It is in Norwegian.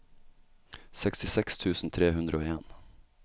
sekstiseks tusen tre hundre og en